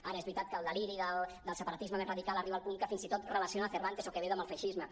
ara és veritat que el deliri del separatisme més radical arriba al punt que fins i tot relaciona cervantes o quevedo amb el feixisme